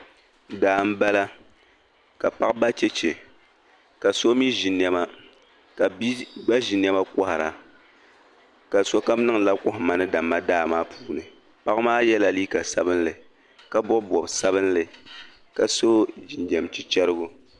Daa m-bala ka paɣa ba cheche ka so mi ʒi nɛma ka bia gba ʒi nɛma kɔhira ka sokam niŋdila kɔhimma ni damma daa puuni. Paɣa maa yɛla liika sabilinli ka bɔbi bɔb' sabilinli ka so jinjam chichɛrigu.